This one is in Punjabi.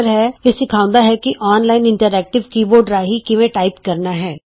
ਇਹ ਤੁਹਾਨੂੰ ਸਿਖਾਉਂਦਾ ਹੈ ਕਿ online interactive keyboard ਰਾਹੀਂ ਕਿਵੇਂ ਟਾਈਪ ਕਰਨਾ ਹੇ